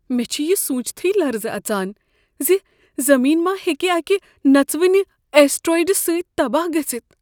مےٚ چھ یہ سوٗنٛچتھٕے لرزٕ اژان زِ ز زٔمیٖن ما ہیٚکہ اکہ نژوٕنہ اسٹیٖرایڈ سۭتۍ تباہ گٔژھتھ۔